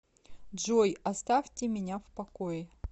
джой оставьте меня в покое